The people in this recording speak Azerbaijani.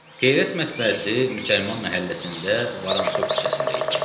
Qeyrət mətbəəsi Müsəlman məhəlləsində Varansov küçəsində idi.